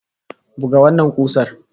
Buga wannan kusar!